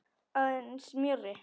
Aðeins mjórri.